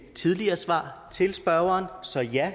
tidligere svar til spørgeren så ja